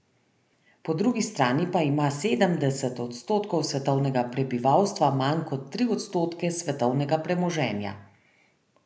Po drugi strani pa ima sedemdeset odstotkov svetovnega prebivalstva manj kot tri odstotke svetovnega premoženja.